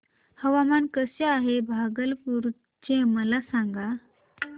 हवामान कसे आहे भागलपुर चे मला सांगा